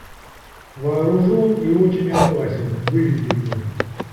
вооружен и очень опасен выведи мне